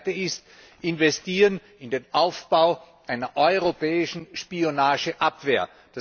Und das Zweite sind Investitionen in den Aufbau einer europäischen Spionageabwehr.